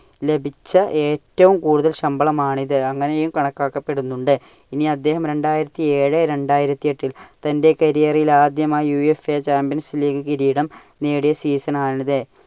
ലഭിച്ച ഏറ്റവും കൂടുതൽ ശമ്പളം ആണിത്. അങ്ങനെയും കണക്കാക്കപ്പെടുന്നുണ്ട്. ഇനി അദ്ദേഹം രണ്ടായിരത്തി ഏഴ് രണ്ടായിരത്തി എട്ടിൽ തന്റെ കരിയറിൽ ആദ്യമായി UFA champions league കിരീടം നേടിയ season ആണിത്.